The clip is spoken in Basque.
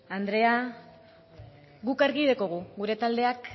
andrea guk argi daukagu gure taldeak